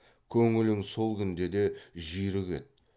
көңілің сол күнде де жүйрік еді